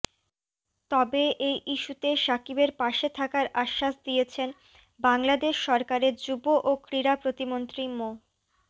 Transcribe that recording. তবে এই ইস্যুতে সাকিবের পাশে থাকার আশ্বাস দিয়েছেন বাংলাদেশ সরকারের যুব ও ক্রীড়া প্রতিমন্ত্রী মো